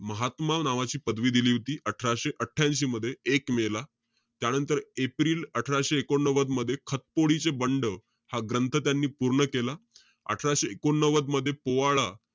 महात्मा नावाची पदवी दिली होती, अठराशे आठ्यांशी मध्ये एक मे ला. त्यानंतर, एप्रिल अठराशे एकोण नव्वद मध्ये खतपोडी चे बंड, हा ग्रंथ त्यांनी पूर्ण केला. अठराशे एकोणनव्वद मध्ये पोवाडा,